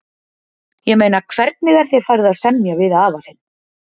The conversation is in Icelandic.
Ég meina hvernig er þér farið að semja við afa þinn?